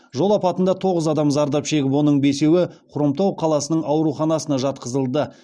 жол апатында тоғыз адам зардап шегіп оның бесеуі хромтау қаласының ауруханасына жатқызылды